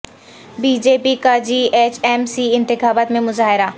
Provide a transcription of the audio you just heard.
be J P کا G H M C انتخابات میں مظاہرہ